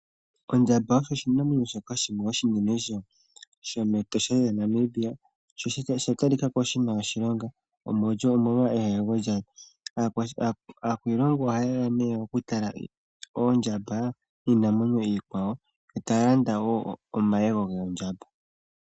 Ondjamba oyo oshinamwenyo shoka oshinene shomEtosha lyaNamibia. Osha talika ko shi na oshilonga omolwa eyego lyasho. Aakwiilongo ohaye ya nee okutala oondjamba niinamwenyo iikwawo, yo taya landa wo omayego goondjamba.